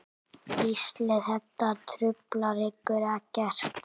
Gísli: Þetta truflar ykkur ekkert?